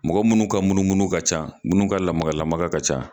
Mɔgɔ munnu ka munumunu ka ca munnu ka lamakalamaka ka ca